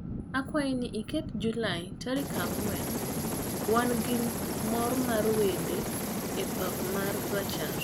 akwayo ni iket Julai tarik angwen wan gi mor mar wende e papa ma rachar